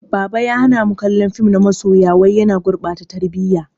Baba ya hana mu kallon fim na masoya wai yana gurɓata tarbiyya.